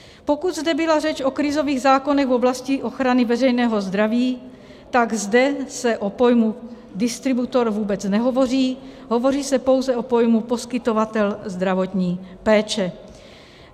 Pokud zde byla řeč o krizových zákonech v oblasti ochrany veřejného zdraví, tak zde se o pojmu distributor vůbec nehovoří, hovoří se pouze o pojmu poskytovatel zdravotní péče.